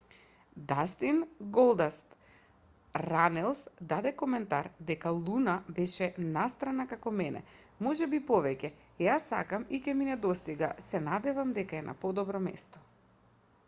дастин голдаст ранелс даде коментар дека луна беше настрана како мене ... можеби и повеќе ... ја сакам и ќе ми недостига ... се надевам дека е на подобро место